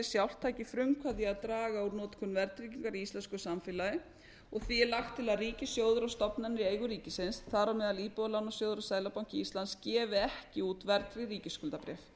sjálft taki frumkvæði í að draga úr notkun verðtryggingar í íslensku samfélagi og því er lagt til að ríkissjóður og stofnanir í eigu ríkisins þar á meðal íbúðalánasjóður og seðlabanki íslands gefi ekki út verðtryggð ríkisskuldabréf